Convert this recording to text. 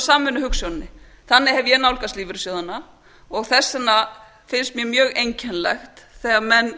samvinnuhugsjóninni þannig hef ég nálgast lífeyrissjóðina og þess vegna finnst mér mjög einkennilegt þegar menn